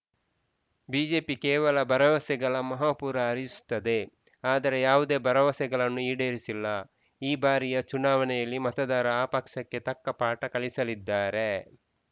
BJP ಕೇವಲ ಭರವಸೆಗಳ ಮಹಾಪೂರ ಹರಿಸುತ್ತದೆ ಆದರೆ ಯಾವುದೇ ಭರವಸೆಗಳನ್ನು ಈಡೇರಿಸಿಲ್ಲ ಈ ಬಾರಿಯ ಚುನಾವಣೆಯಲ್ಲಿ ಮತದಾರ ಆ ಪಕ್ಷಕ್ಕೆ ತಕ್ಕ ಪಾಠ ಕಲಿಸಲಿದ್ದಾರೆ